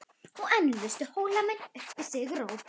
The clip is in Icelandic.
Og enn lustu Hólamenn upp sigurópi.